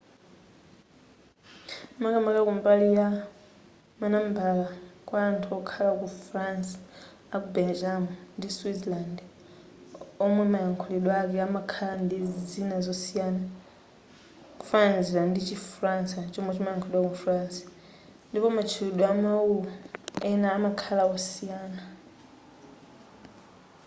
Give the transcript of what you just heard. makamaka kumbali ya manambala kwa anthu olankhula chi faransa aku belgium ndiku switzerland omwe mayakhulidwe ake amakhala ndi zina zosiyana kufananizira ndi chi falansa chomwe chimayakhulidwa ku france ndipo matchulidwe amawu ena amakhala osiyana